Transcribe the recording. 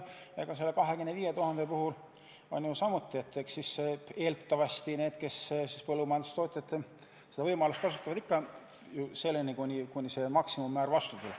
Ja selle 25 000 euro puhul on samamoodi, et eks need, kes põllumajandustootjatest seda võimalust kasutavad, teevad seda ikka ju seni, kuni maksimummäärani jõutakse.